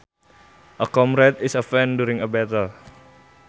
A comrade is a friend during a battle